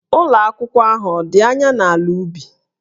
Ụlọ akwụkwọ ahụ ọ̀ dị anya n'ala ubi?